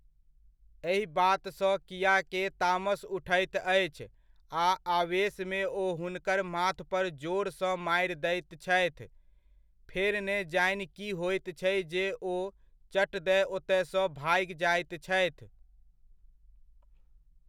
एहि बात सऽ कीया के तामस उठैत अछि आ आवेशमे ओ हुनकर माथपर जोर सँ मारि दैत छथि, फेर ने जानि कि होइत छै जे ओ चट दए ओतय सऽ भागि जाइत छथि।